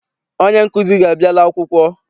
Onye nkụzi gị abiala akwụkwọ?